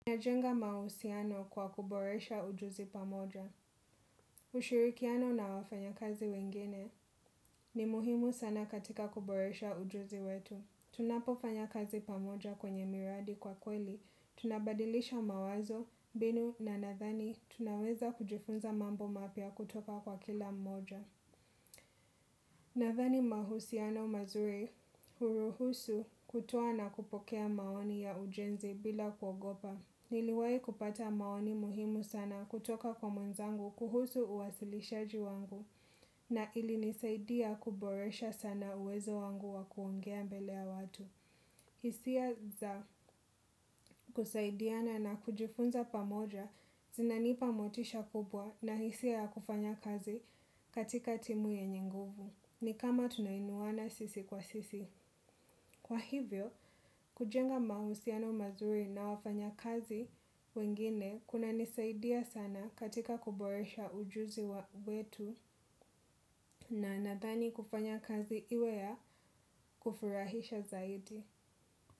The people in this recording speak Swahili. Najenga mahusiano kwa kuboresha ujuzi pamoja. Ushirikiano na wafanyakazi wengine ni muhimu sana katika kuboresha ujuzi wetu. Tunapofanya kazi pamoja kwenye miradi kwa kweli. Tunabadilisha mawazo, mbinu na nathani tunaweza kujifunza mambo mapya kutoka kwa kila mmoja. Nadhani mahusiano mazuri huruhusu kutoa na kupokea maoni ya ujenzi bila kuogopa. Niliwahi kupata maoni muhimu sana kutoka kwa mwenzangu kuhusu uwasilishaji wangu na ilinisaidia kuboresha sana uwezo wangu wa kuongea mbele ya watu. Hisia za kusaidiana na kujifunza pamoja zinanipa motisha kubwa na hisia ya kufanya kazi katika timu yenye nguvu. Ni kama tunainuwana sisi kwa sisi. Kwa hivyo, kujenga mahusiano mazuri na wafanyakazi wengine kunanisaidia sana katika kuboresha ujuzi wetu na nadhani kufanya kazi iwe ya kufurahisha zaidi.